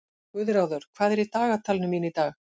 Guðráður, hvað er í dagatalinu mínu í dag?